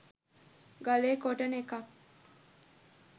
ගලේ කොටන එකත්